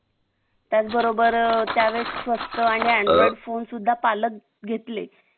त्याचबरोबर त्या वेळेस स्वस्त आणि android phone सुद्धा पालक घेतले